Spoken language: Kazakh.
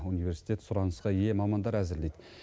университет сұранысқа ие мамандар әзірлейді